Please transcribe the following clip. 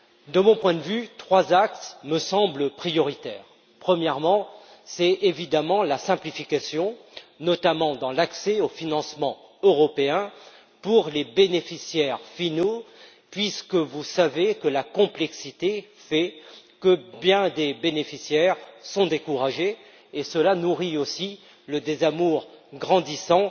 De mon point de vue, trois axes me semblent prioritaires. Premièrement, il faut une simplification, notamment dans l'accès aux financements européens pour les bénéficiaires finals, puisque vous savez que la complexité fait que bien des bénéficiaires sont découragés, et cela nourrit aussi le désamour grandissant